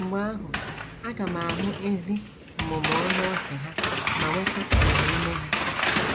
Mgbe ahụ aga m ahụ ezi mmụmụ ọnụ ọchị ha ma nweta agbamume ha.